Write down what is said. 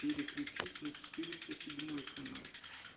переключить на четыреста седьмой канал